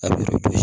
A bɛ so